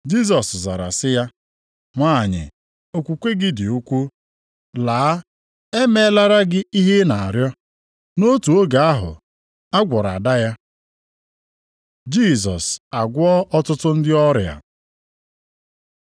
Jisọs zara sị ya, “Nwanyị, okwukwe gị dị ukwuu! Laa, e meelara gị ihe ị na-arịọ.” Nʼotu oge ahụ a gwọrọ ada ya. Jisọs agwọọ ọtụtụ ndị ọrịa